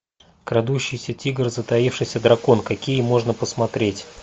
крадущийся тигр затаившийся дракон какие можно посмотреть